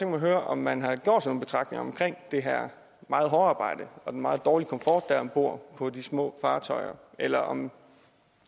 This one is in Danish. mig at høre om man har gjort sig nogle betragtninger om det her meget hårde arbejde og den meget dårlige komfort der er om bord på de små fartøjer eller om